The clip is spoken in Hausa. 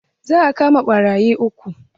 Za a kama ɓarayi uku.